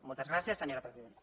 moltes gràcies senyora presidenta